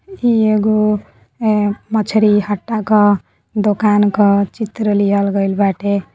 इ एगो ए मछली हत्ता का दुकान का चित्र लिहल गइल बाटे।